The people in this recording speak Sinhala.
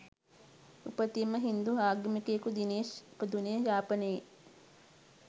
උපතින්ම හින්දු ආගමිකයෙකු දිනේෂ් ඉපදුනේ යාපනයේ